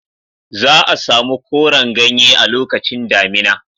Za a samu koran ganye a lokacin damina.